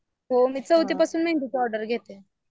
हो मी चौथी पासून मेहंदीच्या ऑर्डर घेते.